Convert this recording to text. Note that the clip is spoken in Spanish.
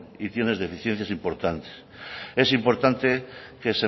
y tienes deficiencias importantes es importante que